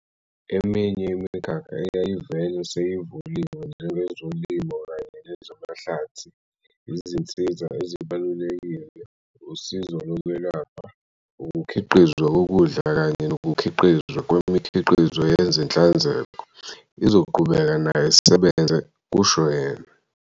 "Eminye imikhakha eyayivele seyivuliwe, njengezolimo kanye nezamahlathi, izinsiza ezibalulekile, usizo lokwelapha, ukukhiqizwa kokudla kanye nokukhiqizwa kwemikhiqizo yenhlanzeko, izoqhubeka nayo isebenze," kusho yena.